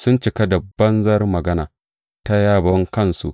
Sun cika da banzar magana ta yabon kansu.